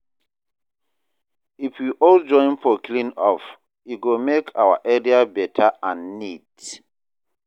If we all join for clean up, e go make our area better and neat.